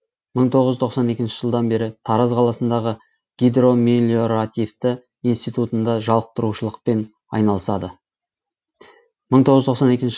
мы тоғыз жүз тоқсан екінші жылдан бері тараз қаласындағы гидромелиоративті институтында жалықтырушылықпен айналысады